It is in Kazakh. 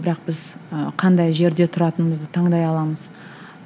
бірақ біз ы қандай жерде тұратынымызды таңдай аламыз